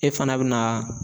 E fana bɛna